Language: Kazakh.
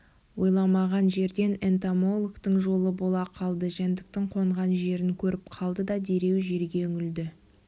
ойламаған жерден энтомологтың жолы бола қалды жәндіктің қонған жерін көріп қалды да дереу жерге үңілді